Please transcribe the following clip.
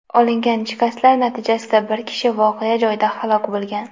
Olingan shikastlar natijasida bir kishi voqea joyida halok bo‘lgan.